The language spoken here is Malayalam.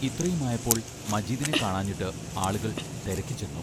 ഇത്രയുമായപ്പോൾ മജീദിനെ കാണാഞ്ഞിട്ട് ആളുകൾ തെരക്കിച്ചെന്നു.